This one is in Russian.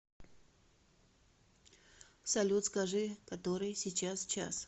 салют скажи который сейчас час